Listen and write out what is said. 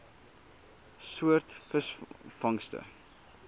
soort visvangste